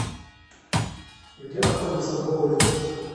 где находится боулинг